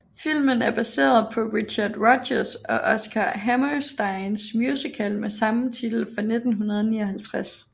Filmen er baseret på Richard Rodgers og Oscar Hammersteins musical med samme titel fra 1959